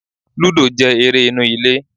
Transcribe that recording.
Lúdò jẹ́ eré inú ilé